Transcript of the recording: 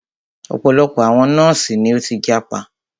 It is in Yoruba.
Ọ̀pọ̀lọpọ̀ àwọn nọ́ọ̀sì ni o tí jápa.